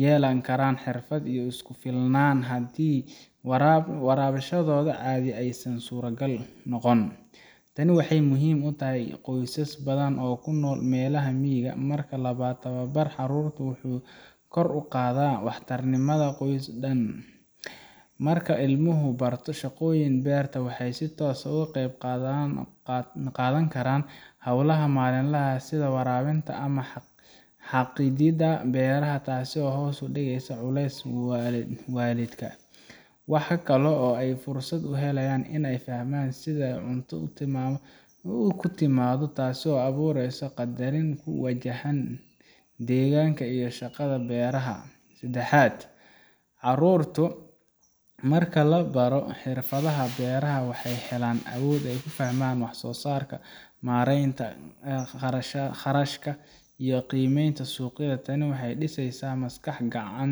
yeelan karaan xirfad ay isku filnaadaan haddii waxbarashadooda caadi aysan suurtagal noqon. Tani waxay muhiim u tahay qoysas badan oo ku nool meelaha miyiga ah. Marka labaad, tababarka carruurta wuxuu kor u qaadaa waxtarnimada qoyska oo dhan. Marka ilmuhu barto shaqooyinka beerta, waxay si toos ah uga qeyb qaadan karaan hawlaha maalinlaha ah sida waraabinta ama xaaqidda beeraha, taasoo hoos u dhigaysa culayska waalidka. Waxaa kaloo ay fursad u helayaan in ay fahmaan sida ay cunto ku timaado, taasoo u abuureysa qadarin ku wajahan deegaanka iyo shaqada beeraha. Saddexaad, carruurta marka la baro xirfadaha beeraha, waxay helaan awood ay ku fahmaan waxsoosaarka, maaraynta kharashka, iyo qiimeynta suuqyada. Tani waxay dhisaysaa maskax